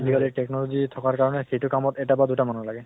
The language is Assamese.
আজি কালি technology থকাৰ কাৰণে সেইটো কামত এটা বা দুটা মানুহ লাগে